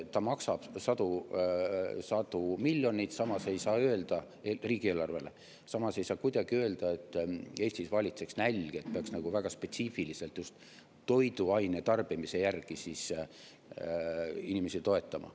Ta maksab riigieelarvele sadu miljoneid, samas ei saa kuidagi öelda, et Eestis valitseks nälg, et peaks väga spetsiifiliselt just toiduainete tarbimise järgi inimesi toetama.